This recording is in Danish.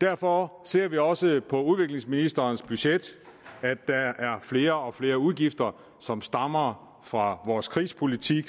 derfor ser vi også på udviklingsministerens budget at der er flere og flere udgifter som stammer fra vores krigspolitik